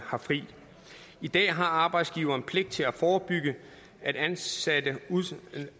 har fri i dag har arbejdsgiverne pligt til at forebygge at ansatte